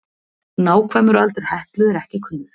Nákvæmur aldur Heklu er ekki kunnur.